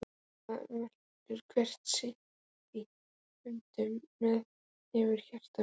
það velur hver sitt- í höndum þér hefurðu hjarta mitt.